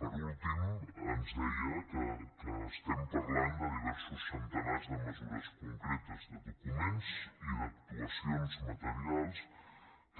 per últim ens deia que estem parlant de diversos centenars de mesures concretes documents i actuacions materials